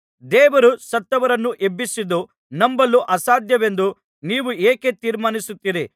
ದೇವರು ಸತ್ತವರನ್ನು ಎಬ್ಬಿಸಿದ್ದು ನಂಬಲು ಅಸಾಧ್ಯವೆಂದು ನೀವು ಏಕೆ ತೀರ್ಮಾನಿಸುತ್ತೀರಿ